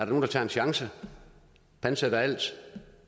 nogle tager en chance pantsætter alt